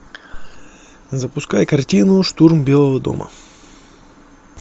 запускай картину штурм белого дома